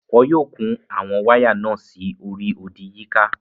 Wọn yóò kun àwọn wáyà náà sí orí odì yíká.